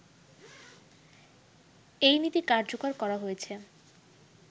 এই নীতি কার্যকর করা হয়েছে